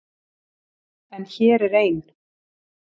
En hér er ein.